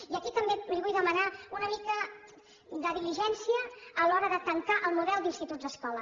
i aquí també li vull demanar una mica de diligència a l’hora de tancar el model d’instituts escola